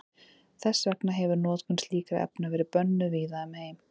Þess vegna hefir notkun slíkra efna verið bönnuð víða um heim.